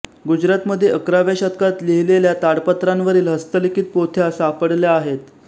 गुजरातमध्ये अकराव्या शतकात लिहिलेल्या ताडपत्रांवरील हस्तलिखित पोथ्या सापडल्या आहेत